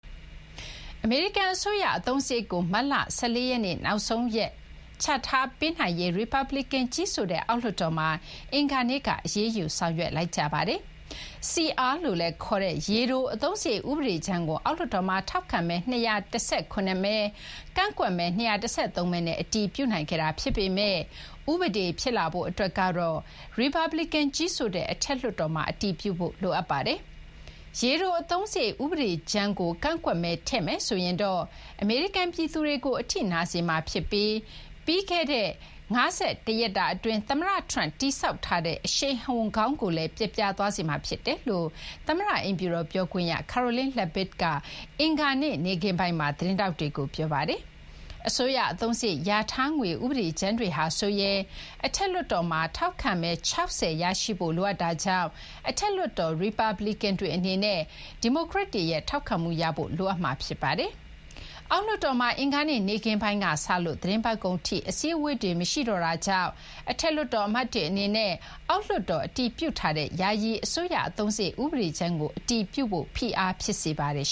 အမေရိကန် အစိုးရအသုံးစရိတ်ကို မတ်လ ၁၄ ရက်နေ့ နောက်ဆုံးရက် ချထားပေးနိုင်ရေး ရီပတ်ဘလီကန် ကြီးစိုးတဲ့ အောက်လွှတ်တော်မှာ အင်္ဂါနေ့က အရေးယူ ဆောင်ရွက်လိုက်ကြပါတယ်။ CR လို့လည်းခေါ်တဲ့ ရေတို အသုံးစရိတ် ဥပဒေကြမ်းကို အောက်လွှတ်တော်မှာ ထောက်ခံမဲ ၂၁၇ မဲ ကန့်ကွက်မဲ ၂၁၃ မဲနဲ့ အတည်ပြုနိုင်ခဲ့တာ ဖြစ်ပေမဲ့ ဥပဒေ ဖြစ်လာဖို့အတွက်ကတော့ ရီပတ်ဘလီကန် ကြီးစိုးတဲ့ အထက်လွှတ်တော်မှာ အတည်ပြုဖို့ လိုအပ်ပါတယ်။ ရေတို အသုံးစရိတ် ဥပဒေကြမ်းကို ကန့်ကွက်မဲ ထည့်မယ်ဆိုရင်တော့ အမေရိကန်ပြည်သူတွေကို အထိနာစေမှာဖြစ်ပြီး ပြီးခဲ့တဲ့ ၅၁ ရက်တာအတွင်း သမ္မတ Trump တည်ဆောက်ထားတဲ့ အရှိန်အဟုန်ကောင်းကိုလည်း ပျက်ပြားသွားစေမှာ ဖြစ်တယ်လို့ သမ္မတအိမ်ဖြူတော် ပြောခွင့်ရ Karoline Leavitt က အင်္ဂါနေ့ နေ့ခင်းပိုင်းမှာ သတင်းထောက်တွေကို ပြောပါတယ်။ အစိုးရ အသုံးစရိတ် လျာထားငွေ ဥပဒေကြမ်းတွေဟာဆိုရင် အထက်လွှတ်တော်မှာ ထောက်ခံမဲ ၆၀ ရရှိဖို့ လိုအပ်တာကြောင့် အထက်လွှတ်တော် ရီပတ်ဘလီကန်တွေအနေနဲ့ ဒီမိုကရက်တွေရဲ့ ထောက်ခံမှုရဖို့ လိုအပ်မှာဖြစ်ပါတယ်။ အောက်လွှတ်တော်မှာ အင်္ဂါနေ့ နေ့ခင်းပိုင်းကစလို့ သီတင်းပတ်ကုန်ထိ အစည်းအဝေးတွေ မရှိတော့တာကြောင့် အထက်လွှတ်တော် အမတ်တွေအနေနဲ့ အောက်လွှတ်တော် အတည်ပြုထားတဲ့ ယာယီ အစိုးရ အသုံးစရိတ် ဥပဒေကြမ်းကို အတည်ပြုဖို့ ဖိအားဖြစ်စေပါတယ်